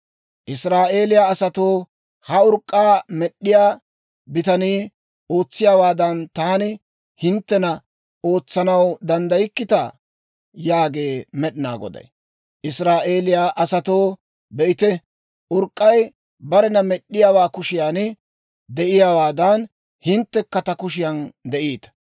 «Israa'eeliyaa asatoo, ha urk'k'aa med'd'iyaa bitanii ootsiyaawaadan, taani hinttena ootsanaw danddaykkitaa? Yaagee Med'inaa Goday. Israa'eeliyaa asatoo, be'ite; urk'k'ay barena med'd'iyaawaa kushiyan de'iyaawaadan, hinttekka ta kushiyan de'iita.